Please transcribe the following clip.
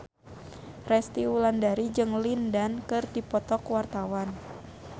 Resty Wulandari jeung Lin Dan keur dipoto ku wartawan